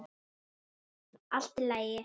Allt í lagi!